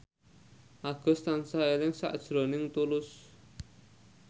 Agus tansah eling sakjroning Tulus